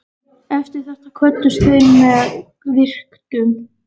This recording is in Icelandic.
Eftir þetta kvöddust þeir með virktum.